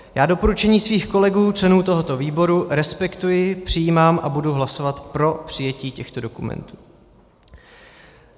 Já doporučení svých kolegů členů tohoto výboru respektuji, přijímám a budu hlasovat pro přijetí těchto dokumentů.